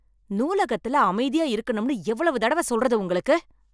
நூலகத்துல அமைதியா இருக்கனும்னு எவ்வளவு தடவ சொல்றது உங்களுக்கு.